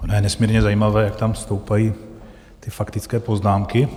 Ono je nesmírně zajímavé, jak tam stoupají ty faktické poznámky.